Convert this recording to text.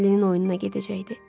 Mellinin oyununa gedəcəkdi.